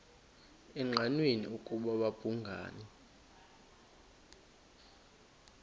engqanweni ukuba babhungani